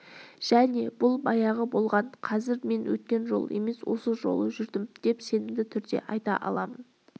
және бұл баяғыда болған қазір мен өткен жолы емес осы жолы жүрдім деп сенімді түрде айта алмаймын